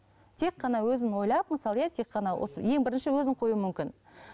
тек қана өзін ойлап мысалы иә тек қана осы ең бірінші өзін қоюы мүмкін